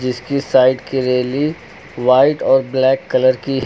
इसकी साइड की railing white और ब्लैक कलर की--